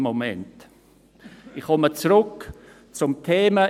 Ich komme zurück zum Thema.